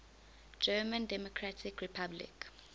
german democratic republic